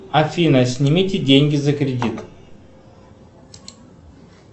афина снимите деньги за кредит